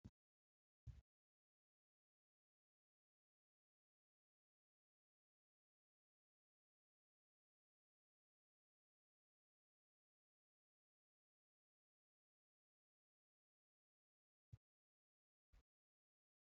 Kopheen wantoota bu'uura jireenya dhala namaa keessaa isa tokkodha. Kopheen wanta dhalli namaa miilla isaatti godhatee deemudha. Kunis miidhaganii yookiin bareedina keenyaaf kan ooluufi miilla keenya gufuu adda addaa irraa ittisuuf gargaara.